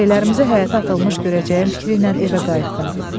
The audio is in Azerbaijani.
Şeylərimizi həyətə atılmış görəcəyəm fikri ilə evə qayıtdım.